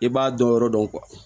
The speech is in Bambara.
I b'a dɔn yɔrɔ dɔn